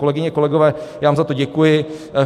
Kolegyně, kolegové, já vám za to děkuji.